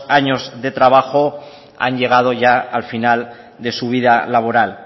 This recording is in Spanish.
años de trabajo han llegado ya al final de su vida laboral